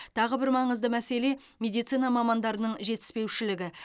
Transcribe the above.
тағы бір маңызды мәселе медицина мамандардың жетіспеушілігі